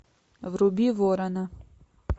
вруби ворона